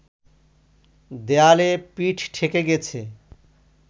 দেয়ালে পিঠ ঠেকে গেছে